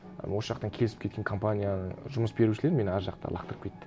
осы жақтан келісіп кеткен компания жұмыс берушілер мені ар жақта лақтырып кетті